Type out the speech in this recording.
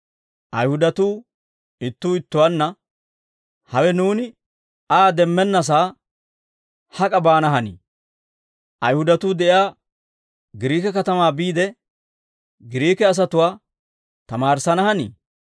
Ayihudatuu ittuu ittuwaanna, «Hawe nuuni Aa demmennassaa hak'a baana hanii? Ayihudatuu de'iyaa Giriike katamaa biide, Giriike asatuwaa tamaarissana hanii?